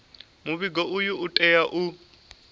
muvhigo uyu u tea u